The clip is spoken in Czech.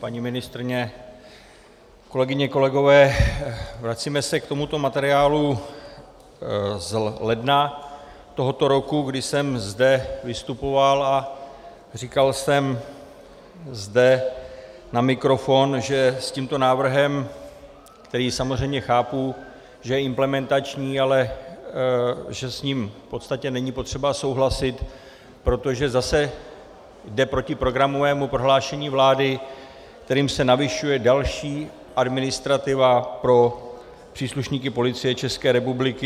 Paní ministryně, kolegyně, kolegové, vracíme se k tomuto materiálu z ledna tohoto roku, kdy jsem zde vystupoval a říkal jsem zde na mikrofon, že s tímto návrhem, který samozřejmě chápu, že je implementační, ale že s ním v podstatě není potřeba souhlasit, protože zase jde proti programovému prohlášení vlády, kterým se navyšuje další administrativa pro příslušníky Policie České republiky.